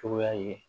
Cogoya ye